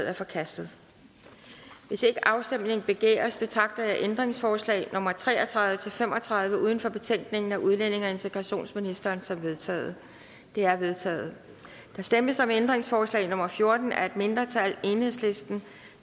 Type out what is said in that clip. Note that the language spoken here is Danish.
er forkastet hvis ikke afstemning begæres betragter jeg ændringsforslag nummer tre og tredive til fem og tredive uden for betænkningen af udlændinge og integrationsministeren som vedtaget de er vedtaget der stemmes om ændringsforslag nummer fjorten af et mindretal